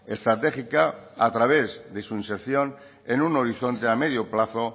estratégica a través de su inserción en un horizonte a medio plazo